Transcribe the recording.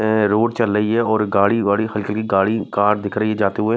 अअअ रोड चल रही है और गाड़ी गाड़ी हल्की - हलकी गाड़ी कार दिख रही है जाते हुए --